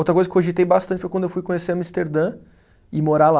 Outra coisa que cogitei bastante foi quando eu fui conhecer Amsterdã, ir morar lá.